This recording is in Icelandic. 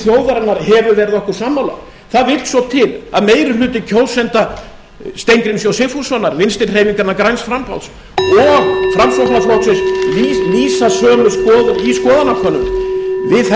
þjóðarinnar hefur verið okkur sammála það vill svo til að meiri hluti kjósenda steingríms j sigfússonar vinstri hreyfingarinnar græns framboðs og framsóknarflokksins lýsa sömu skoðun í skoðanankönunum við þessar aðstæður verður einfaldlega allt